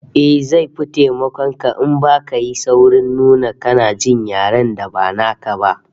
Eh, zai fi taimakon ka in baka yi saurin nuna kana jin yaren da ba naka ba